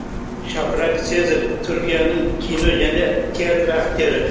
шафрак сезер түркияның кино және театр актері